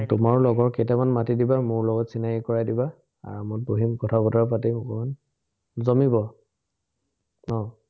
তোমাৰো লগৰ কেইটামান মাতি দিবা, মোৰ লগত চিনাকী কৰাই দিবা, বহিম, কথা-বতৰা পাতিম অকনমান, জমিব। আহ